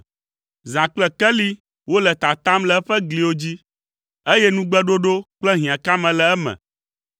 Zã kple keli wole tatam le eƒe gliwo dzi, eye nugbeɖoɖo kple hiãkame le eme.